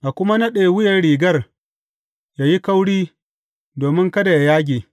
A kuma naɗe wuyan rigar yă yi kauri domin kada yă yage.